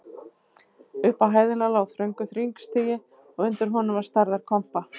Upp á hæðina lá þröngur hringstigi og undir honum var stærðar kompa.